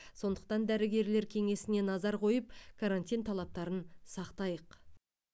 сондықтан дәрігерлер кеңесіне назар қойып карантин талаптарын сақтайық